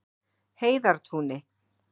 Heiðartúni